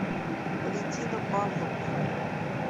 валентина павловна